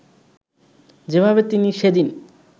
যেভাবে তিনি সেদিন